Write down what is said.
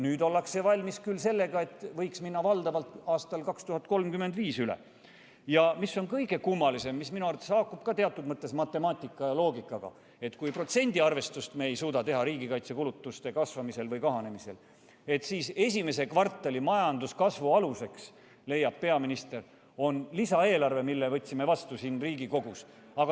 Nüüd ollakse valmis selleks, et võiks üle minna valdavalt aastaks 2035. Mis on kõige kummalisem, minu arvates haakub see teatud mõttes ka matemaatika ja loogikaga – kui me ei suuda teha protsendiarvestust riigikaitsekulutuste kasvamisel või kahanemisel, et siis esimese kvartali majanduskasvu aluseks, leiab peaminister, on lisaeelarve, mille võtsime vastu Riigikogus.